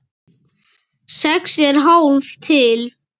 Sex er hálf tylft.